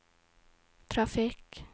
trafikk